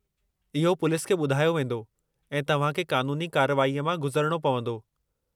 इहो पुलिस खे ॿुधायो वेंदो, ऐं तव्हां खे क़ानूनी कार्रवाईअ मां गुज़रणो पवंदो।